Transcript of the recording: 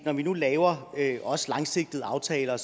når vi nu laver også langsigtede aftaler